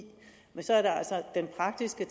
men så er der altså den praktiske